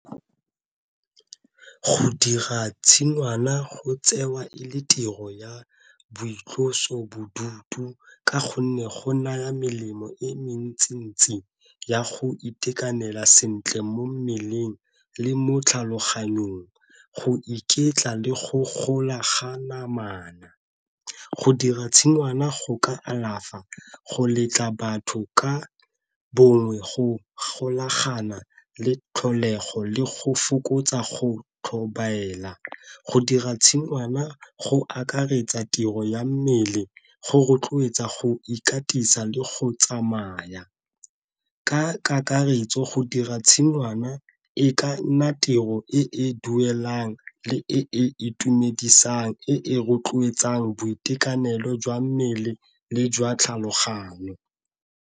Go dira tshingwana go tsewa e le tiro ya boitlosobodutu ka gonne go naya melemo e mentsintsi ya go itekanela sentle mo mmeleng le mo tlhaloganyong, go iketla le go golaganya namana. Go dira tshingwana go ka alafa go letla batho ka bongwe go golagana le tlholego le go fokotsa go tlhobaela, go dira tshingwana go akaretsa tiro ya mmele go rotloetsa go ikatisa le go tsamaya. Ka kakaretso go dira tshingwana e ka nna tiro e e duelang le e e itumedisang e rotloetsang boitekanelo jwa mmele le jwa tlhaloganyo.